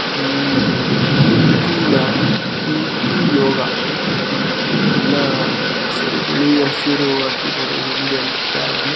ಇದು ಕೀರ್ತಿನಾ ಕೀರ್ತಿ ಯೋಗ ಎಲ್ಲಾ ಕೇಸರಿ ಬಿಳಿ ಹಸಿರು ಹಾಕಿದರೆ ಇಂಡಿಯನ್ ಫ್ಲಾಗ್ ನ .